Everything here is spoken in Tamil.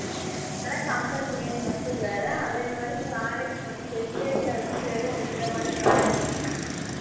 ஹம் ஆனா company name மட்டும் வேற அதே மாதிரி product வந்து vistage ல வந்து வெறும் இந்த மாதிரி product